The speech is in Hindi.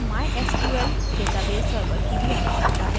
और mysql database server की भी आवश्यकता है